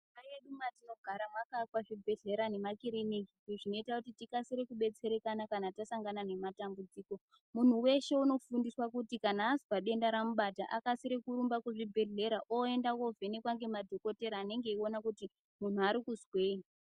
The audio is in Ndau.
Munharaunda mwedu mwatinogara mwakaakwa zvibhedhlera nemakiriniki izvi zvinoita kuti tikasire kubetserekana kana tasangana nematambudziko muntu weshe unofundiswa kuti kana azwa denda ramubata akasire kurumba kuzvibhedhlera oenda kovhenekwa ngemadhokodheya anenge echiona kuti muntu ari kuzwei.